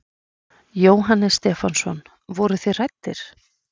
Jóhannes Stefánsson: Voruð þið hræddir?